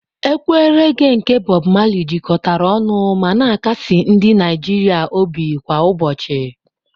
Ekwe reghé nke Bob Marley jikọtara ọnụ ma na-akasi ndị Naijiria obi kwa ụbọchị.